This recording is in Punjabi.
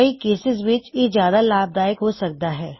ਕਈ ਕੇਸਿਜ਼ ਵਿੱਚ ਇਹ ਜਿਆਦਾ ਲਾਭਦਾਇਕ ਹੋ ਸਕਦਾ ਹੈ